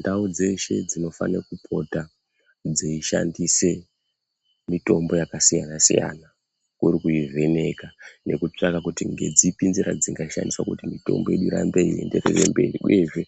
Ndau dzeshe dzinofane kupota dzeyishandise mitombo yakasiyana-siyana kuri kuvheneka nekutsvaka kuti ngedzipi nzira dzingashandiswa kuti mitombo irambe yeienderera mberi. Uyezve